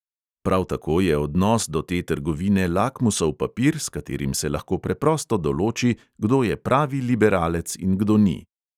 Prav tako je odnos do te trgovine lakmusov papir, s katerim se lahko preprosto določi, kdo je pravi liberalec in kdo ni.